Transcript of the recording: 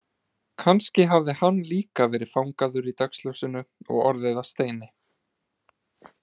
Kannski hafði hann líka verið fangaður í dagsljósinu og orðið að steini.